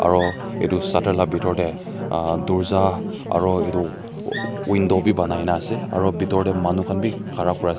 Aro etu shatter la bitor tey aahh dorja aro etu window bi banai ase aro bitor tey manu khan bi khara kuri ase.